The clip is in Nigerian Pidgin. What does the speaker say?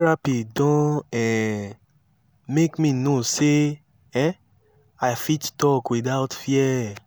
therapy don um make me know sey um i fit talk without fear